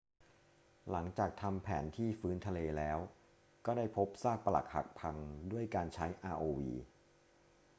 หลังจากทำแผนที่พื้นทะเลแล้วก็ได้พบซากปรักหักพังด้วยการใช้ rov